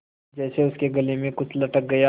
जैसे उसके गले में कुछ अटक गया